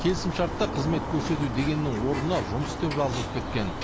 келісімшартта қызмет көрсету дегеннің орнына жұмыс деп жазылып кеткен